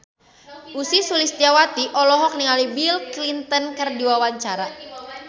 Ussy Sulistyawati olohok ningali Bill Clinton keur diwawancara